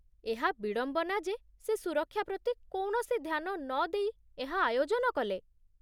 ଏହା ବିଡ଼ମ୍ବନା ଯେ ସେ ସୁରକ୍ଷା ପ୍ରତି କୌଣସି ଧ୍ୟାନ ନଦେଇ ଏହା ଆୟୋଜନ କଲେ